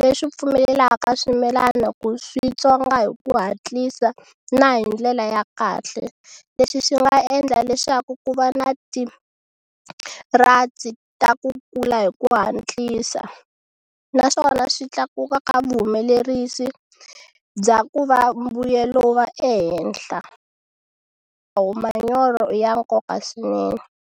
leswi pfumelelaka swimilana ku swi tswonga hi ku hatlisa na hi ndlela ya kahle leswi swi nga endla leswaku ku va na ti ta ku kula hi ku hatlisa naswona swi tlakuka ka vuhumelerisi bya ku va mbuyelo wu va ehenhla manyoro i ya nkoka swinene.